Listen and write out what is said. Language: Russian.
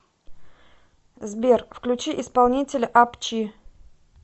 сбер включи исполнителя ап чи